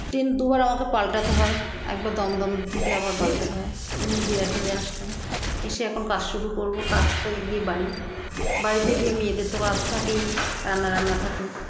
train দুবার আমাকে পাল্টাতে হয় একবার দমদম থেকে আবার পাল্টাতে হয় নিয়ে বিরাটিতে আসলাম এসে এখন কাজ শুরু করবো পাঁচটায় গিয়ে বাড়ি বাড়িতে গিয়ে মেয়েদের তো কাজ থাকেই রান্না রান্না থাকে